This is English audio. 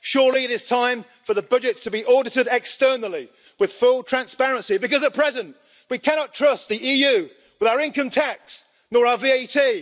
Surely it is time for the budget to be audited externally with full transparency because at present we cannot trust the EU with our income tax nor our VAT.